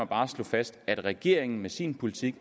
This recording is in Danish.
bare slå fast at regeringen med sin politik